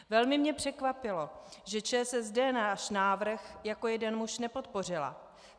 Velmi mě překvapilo, že ČSSD náš návrh jako jeden muž nepodpořila.